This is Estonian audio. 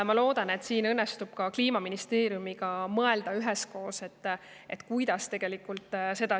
Ma loodan, et meil õnnestub koos Kliimaministeeriumiga mõelda, kuidas seda tegelikult tagada.